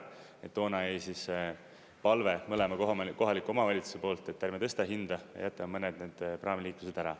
Ja toona jäi palve mõlema kohaliku omavalitsuse poolt, et ärme tõsta hinda, jätame mõned need praamiliiklused ära.